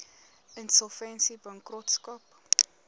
insolvensiebankrotskap